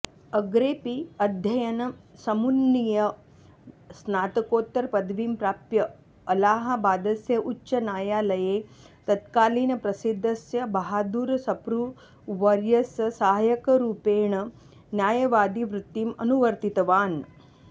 अग्रेपि अध्ययनं समुन्नीय स्नातकोत्तरपदवीं प्राप्य अलहाबादस्य उच्चन्यायालये तत्कालीनप्रसिद्धस्य बहादूरसप्रू वर्यस्य सहायकरूपेण न्यायवादिवृत्तिम् अनुवर्तितवान्